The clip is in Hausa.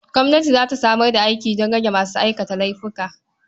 Gwamnati za ta samar da aiki don rage masu aikata laifuka.